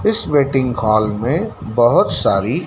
इस waiting hall में बहुत सारी--